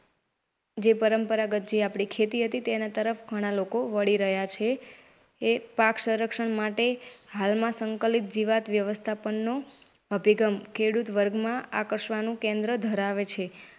જે પરંપરાગત જે આપણી ખેતી તરફ ઘણા લોકો વળી રહ્યાં છે. એ પાક સંરક્ષણ માટે હાલમાં સંકલિત જીવાત વ્યવસ્થાપનનો અભીગમ ખેડૂત વર્ગમાં આકર્ષવાનું કેન્દ્ર ધરાવે છે.